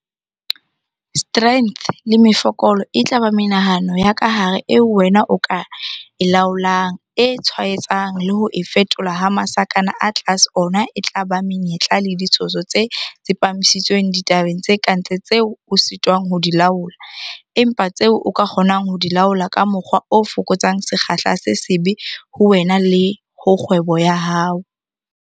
Strengths le Mefokolo e tla ba menahano ya ka hare eo wena o ka e laolang, e tshwaetsang le ho e fetola ha masakana a tlase ona e tla ba Menyetla le DItshoso tse tsepamisitsweng ditabeng tse ka ntle tseo o sitwang ho di laola - empa tseo o ka kgonang ho di laola ka mokgwa o fokotsang sekgahla se sebe ho wena le ho kgwebo ya hao.